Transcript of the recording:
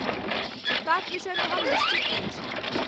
जुत्ताक विषयमे हम निश्चित नहि छी।